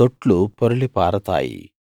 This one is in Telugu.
తొట్లు పొర్లి పారతాయి